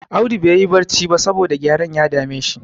Audu baiyi barci ba, saboda gyaren ya dame shi.